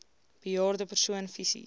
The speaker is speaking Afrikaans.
bejaarde persoon fisies